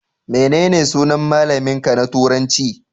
Menene sunan malamin ka na turanci?